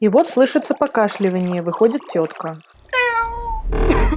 и вот слышится покашливанье выходит тётка